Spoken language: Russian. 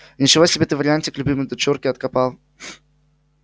ничего себе ты вариантик любимой дочурке откопал